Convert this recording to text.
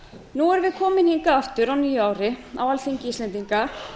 nú erum við komin hingað aftur á nýju ári á alþingi íslendinga